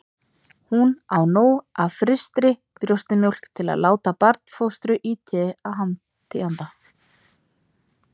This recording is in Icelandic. Hún á nóg af frystri brjóstamjólk til að láta barnfóstru í té handa